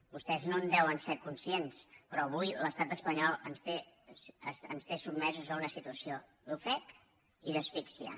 vostès no en deuen ser conscients però avui l’estat espanyol ens té sotmesos a una situació d’ofec i d’asfíxia